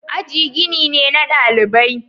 Aji gini ne na dalibai.